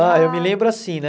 Ah, eu me lembro assim, né?